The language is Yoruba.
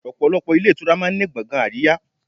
Ọ̀pọ̀lọpọ̀ ilé ìtura máa ń ní gbọ̀ngàn àríyá.